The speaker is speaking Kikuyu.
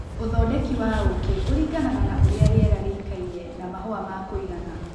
ũthondeki wa ũkĩ ũringanaga na ũrĩa rĩera rĩikaire na mahũa ma kũigana.